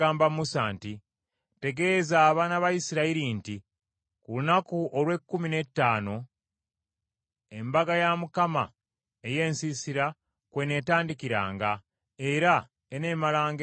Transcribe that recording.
“Tegeeza abaana ba Isirayiri nti ku lunaku olw’ekkumi n’ettaano Embaga ya Mukama ey’Ensiisira kw’eneetandikiranga, era eneemalanga ennaku musanvu.